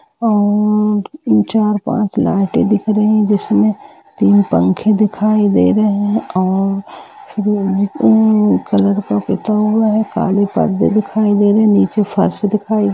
अ चार पाँच लाईटे दिख रही हैं जिसमे तीन पंखे दिखाई दे रहे हैं और कलर का पुता हुआ है काली परदे दिखाई दे रहे है नीचे फर्श दिखाई दे रही है।